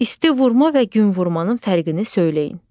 İsti vurma və gün vurmanın fərqini söyləyin.